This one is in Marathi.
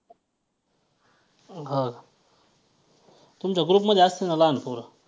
हां तुमच्या group मध्ये असतील ना लहान पोरं.